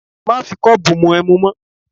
Má fi kọ́ọ̀bù mu ẹmu mọ́!